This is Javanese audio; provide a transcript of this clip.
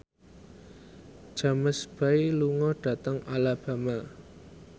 James Bay lunga dhateng Alabama